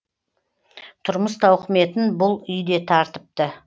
тұрмыс тауқыметін бұл үй де тартыпты